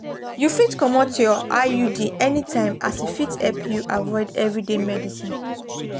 you fit comot your iud anytime as e fit help you avoid everyday medicines.